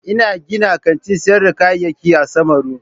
Ina gina kantin sayar da kayayyaki a samaru.